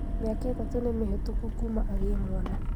Mĩaka ĩtatũ nĩmĩhĩtũku kuma agĩe mwana